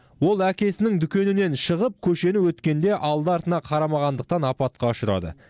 ол әкесінің дүкенінен шығып көшені өткенде алды артына қарамағандықтан апатқа ұшырады